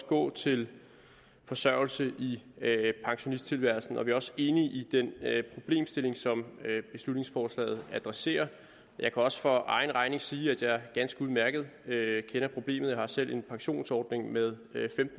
gå til forsørgelse i pensionisttilværelsen og vi er også enige i den problemstilling som beslutningsforslaget adresserer jeg kan også for egen regning sige at jeg ganske udmærket kender problemet for jeg har selv en pensionsordning med